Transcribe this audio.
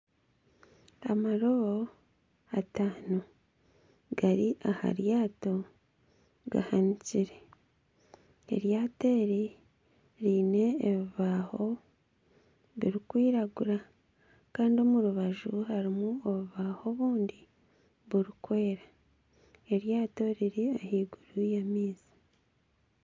Amarobo ataano gari aha ryato gahanikire. Eryato eri riine ebibaaho birikwiragura Kandi omu rubaju harimu obubaaho obundi burikwera. Eryato riri ahaiguru y'amaizi .